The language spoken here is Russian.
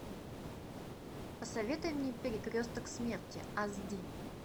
посоветуй мне перекресток смерти аш ди